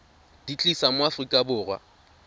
di tlisa mo aforika borwa